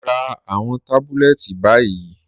Rá àwọn tábùlẹ̀tì báyì.